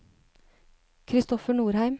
Christoffer Norheim